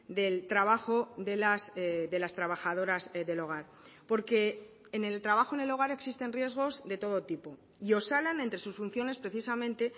del trabajo de las trabajadoras del hogar porque en el trabajo en el hogar existen riesgos de todo tipo y osalan entre sus funciones precisamente